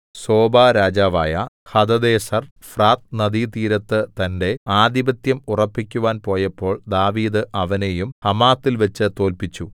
സോബാരാജാവായ ഹദദേസെർ ഫ്രാത്ത് നദീതീരത്ത് തന്റെ ആധിപത്യം ഉറപ്പിക്കുവാൻ പോയപ്പോൾ ദാവീദ് അവനെയും ഹമാത്തിൽവെച്ചു തോല്പിച്ചു